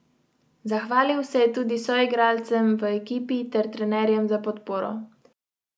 Zahvalil se je tudi soigralcem v ekipi ter trenerjem za podporo: 'Veliko ljudem se moram zahvaliti za pomoč.